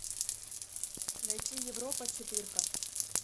найти европа четыре ка